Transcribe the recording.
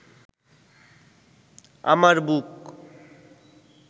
আমার বুক